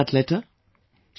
And what was in that letter